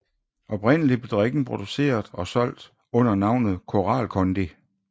Oprindeligt blev drikken produceret og solgt under navnet Koral Kondi